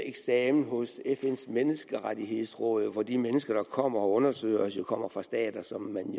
eksamen hos fns menneskerettighedsråd hvor de mennesker der kommer og undersøger os jo kommer fra stater som man